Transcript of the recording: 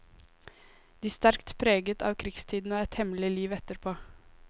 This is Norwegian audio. De sterkt preget av krigstiden og et hemmelig liv etterpå.